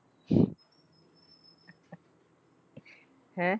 ਹੈਂ?